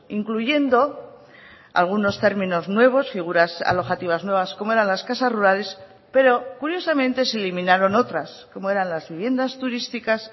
incluyendo algunos términos nuevos figuras alojativas nuevas como eran las casas rurales pero curiosamente se eliminaron otras como eran las viviendas turísticas